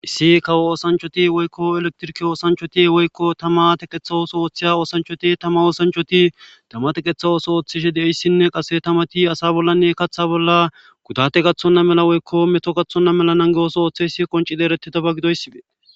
Issi kawo oosanchoti woykko eletrike oosanchoti woykko tama teqetha ooso ooththeya oosanchoti tama oosanchoti tama teqetha ooso ooththishe deeyssinne qase tamati asa bollanne katha bolla gudate gaththonna mela woykko meto kathonna mela nange ooso ooththe issi qoncide erettedabagidoyssibe